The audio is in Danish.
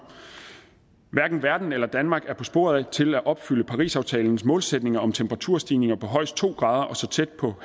hverken verden eller danmark er på sporet til at opfylde parisaftalens målsætninger om temperaturstigninger på højst to grader og så tæt på